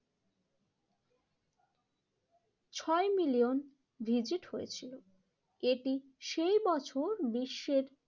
ছয় million visit হয়েছিল। এটি সেই বছর বিশ্বের